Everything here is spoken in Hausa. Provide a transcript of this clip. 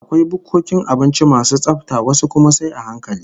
Akwai bukkokin abinci masu tsafta, wasu kuma sai a hankali